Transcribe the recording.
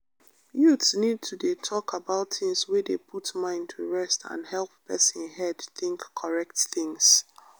youths need to dey talk about things wey dey put mind to rest and help person head think correct things.